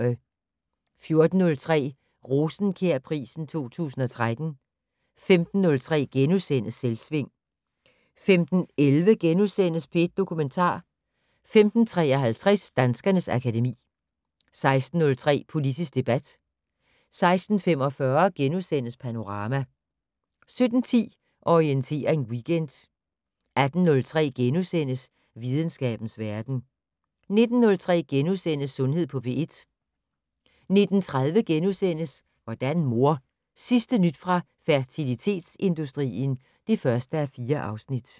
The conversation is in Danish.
14:03: Rosenkjærprisen 2013 15:03: Selvsving * 15:11: P1 Dokumentar * 15:53: Danskernes akademi 16:03: Politisk debat 16:45: Panorama * 17:10: Orientering Weekend 18:03: Videnskabens verden * 19:03: Sundhed på P1 * 19:30: Hvordan mor? Sidste nyt fra fertilitetsindustrien (1:4)*